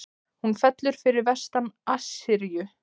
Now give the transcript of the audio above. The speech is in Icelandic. Hún fellur fyrir vestan Assýríu.